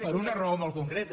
per una raó molt concreta